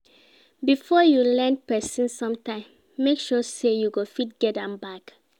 Before you lend pesin sometin, make sure sey you go fit get am back.